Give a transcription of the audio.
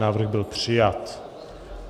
Návrh byl přijat.